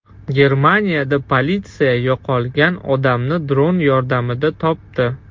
Germaniyada politsiya yo‘qolgan odamni dron yordamida topdi.